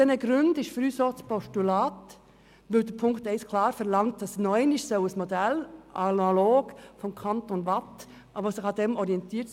Der Punkt 1 verlangt klar, dass ein Modell ausgearbeitet werden soll, das sich am Kanton Waadt orientiert.